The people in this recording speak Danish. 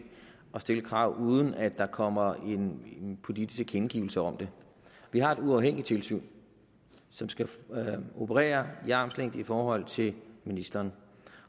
at stille krav uden at der kommer en politisk tilkendegivelse om det vi har et uafhængigt tilsyn som skal operere i armslængde i forhold til ministeren